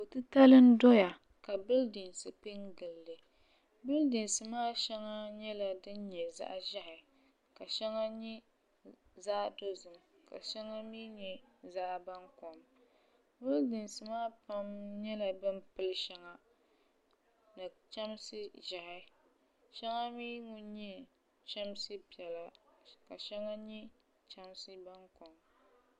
Ko' titali n-doya ka bilidinsinima pe n-gili li bilidinsi maa shɛŋa nyɛla din nyɛ zaɣ' ʒiɛhi ka shɛŋa nyɛ zaɣidozim ka shɛŋa mi nyɛ zaɣibankom bilidinsi maa pam nyɛla bɛ ni pili shɛŋa ni chamsi ʒiɛhi shɛŋa mi ŋun nyɛ chamsi piɛla ka shɛŋa mi nyɛ zaɣibankom